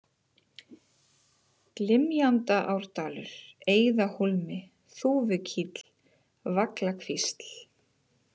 Glymjandaárdalur, Eiðahólmi, Þúfukíll, Vaglakvísl